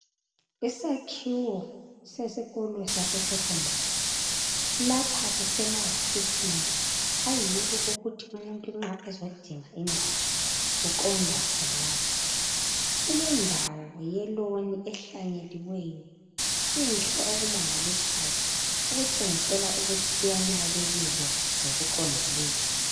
Isakhiwo sesikolo sase sekhondari. Lapha kusemawofisini ayiwo okuthi umuntu nxa ezodinga indawo uqonda khonapho. Kulendawo yeloni ehlanyeliweyo enhle okumangalisayo okutshengisela ukuthi iyanakekelwa ngokuqondileyo.